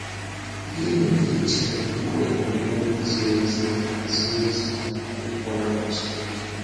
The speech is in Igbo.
Gịnị ka ị chèrè bụ́ ebumnòbi zìrì ezi maka zìrì ezi maka ikwèrè n’Chínèké?